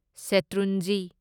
ꯁꯦꯇ꯭ꯔꯨꯟꯖꯤ